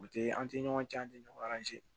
U tɛ an tɛ ɲɔgɔn cɛn an tɛ ɲɔgɔn